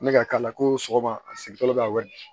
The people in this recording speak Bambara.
Ne ka k'a la ko sɔgɔma a sigitɔ bɛ ka wili